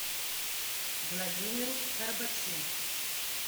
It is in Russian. владимиру горбачу